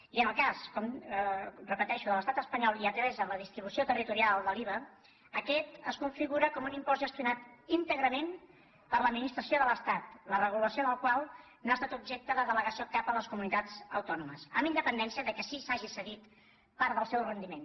i en el cas ho repeteixo de l’estat espanyol i atesa la distribució territorial de l’iva aquest es configura com un impost gestionat íntegrament per l’administració de l’estat la regulació del qual no ha estat objecte de delegació cap a les comunitats autònomes amb independència que sí que s’hagi cedit part del seu rendiment